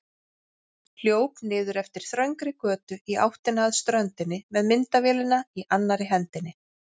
Hljóp niður eftir þröngri götu í áttina að ströndinni með myndavélina í annarri hendinni.